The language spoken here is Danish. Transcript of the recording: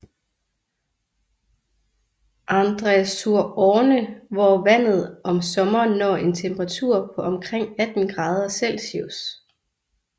Andre sur Orne hvor vandet om sommeren når en temperatur på omkring 18 grader Celsius